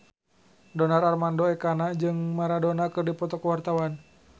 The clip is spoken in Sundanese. Donar Armando Ekana jeung Maradona keur dipoto ku wartawan